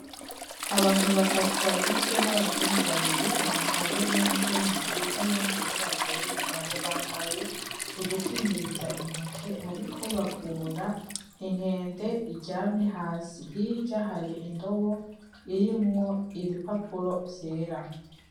Abantu batatu bagizwe n'abazungu babiri, umugabo n'umukenyezi nuyundi mwirabure w'umugabo, bambaye udukingiriza intoke bariko bavura inkende iryamye hasi, hirya hari indobo irimwo ibipapuro vyera.